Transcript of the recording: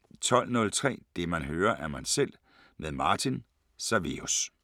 12:03: Det man hører, er man selv med Martin, SAVEUS